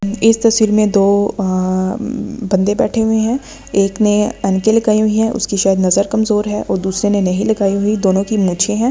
इस तस्वीर में दो अ बंदे बैठे हुए हैं एक ने अनके लगाई हुई है उसकी शायद नजर कमजोर है और दूसरे ने नहीं लगाई हुई दोनों की मूछें है।